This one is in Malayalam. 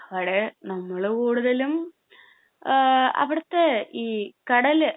അവിടെ നമ്മള് കൂടുതലും എഹ് അവിടത്തെ ഈ കടല്